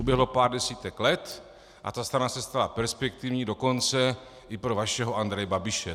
Uběhlo pár desítek let a ta strana se stala perspektivní dokonce i pro vašeho Andreje Babiše.